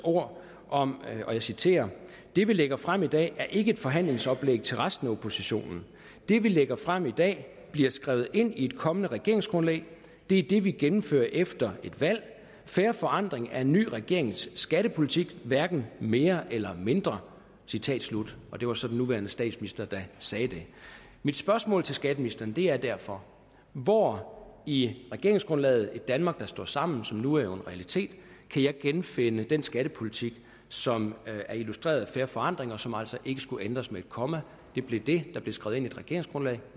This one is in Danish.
ord om og jeg citerer det vi lægger frem i dag er ikke et forhandlingsoplæg til resten af oppositionen det vi lægger frem i dag bliver skrevet ind i et kommende regeringsgrundlag det er det vi gennemfører efter et valg fair forandring er en ny regerings skattepolitik hverken mere eller mindre citat slut og det var så den nuværende statsminister der sagde det mit spøgsmål til skatteministeren er derfor hvor i regeringsgrundlaget et danmark der står sammen som nu er en realitet kan jeg genfinde den skattepolitik som er illustreret i fair forandring som altså ikke skulle ændres med et komma det blev det der blev skrevet regeringsgrundlag